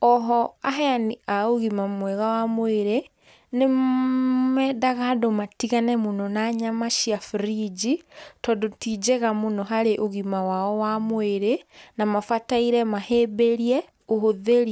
oho aheani a ũgima mwega wa mwĩrĩ, nĩ mendaga andũ matigane mũno na yama cia brinji, tondũ ti njega mũno harĩ ũgima wao wa mwĩrĩ, na mabataire mahĩmbĩrie ũhũthĩri.